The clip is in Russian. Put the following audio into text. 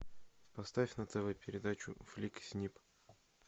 поставь на тв передачу флик снип